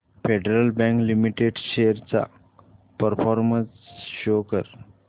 federal Bank Limited shares चा performance show कर